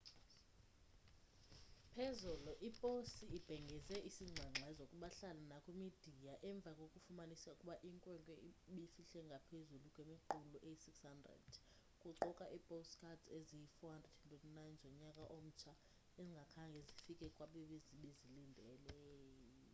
phezolo iposi ibhengeze isingxengxezo kubahlali nakwimidiya emva kokufumanisa ukuba inkwenkwe ebifihle ngaphezu kwemiqulu eyi 600 kuquka iipostcards eziyi 429 zonyaka omtsha ezingakhange zifike kwabebezilindele